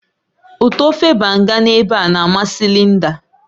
Utọ ofe banga na eba na amasị Linda